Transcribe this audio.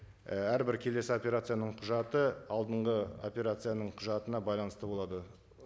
і әрбір келесі операцияның құжаты алдынғы операцияның құжатына байланысты болады